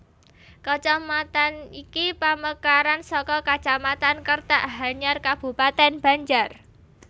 Kacamatan ini pamekaran saka Kacamatan Kertak Hanyar Kabupatèn Banjar